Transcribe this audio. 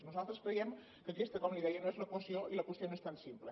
nosaltres creiem que aquesta com li deia no és l’equació i la qüestió no és tan simple